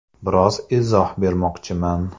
Biroz izoh bermoqchiman.